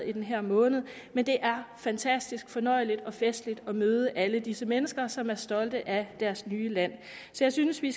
i den her måned men det er fantastisk fornøjeligt og festligt at møde alle disse mennesker som er stolte af deres nye land så jeg synes vi